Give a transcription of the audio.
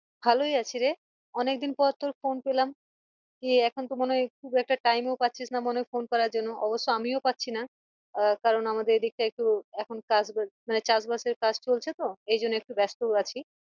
ভালই আছি রে অনেকদিন পর তোর phone পেলাম এখন তো মনে হয় খুব একটা time ও পাচ্ছিস না মনে হ phone করার জন্য অবশ্য আমিও পাচ্ছিনা আহ কারন আমাদের এদিক টা একটু এখন চাষ বাস মানে চাষ বাসে কাজ চলছে তো এইজন্য একটু ব্যাস্ত ও আছি ।